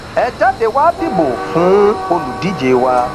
ẹ jáde wàá dìbò fún olùdíje wa